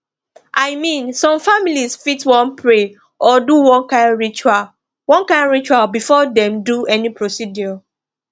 i mean some families fit wan pray or do one kind ritual one kind ritual before dem do any procedure